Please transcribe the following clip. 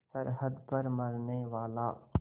सरहद पर मरनेवाला